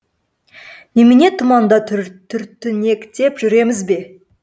немене тұманда түртінектеп жүреміз бе